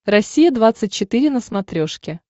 россия двадцать четыре на смотрешке